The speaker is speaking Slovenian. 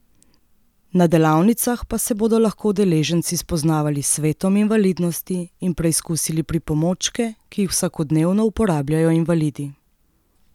Na delavnicah pa se bodo lahko udeleženci spoznavali s svetom invalidnosti in preizkusili pripomočke, ki jih vsakodnevno uporabljajo invalidi.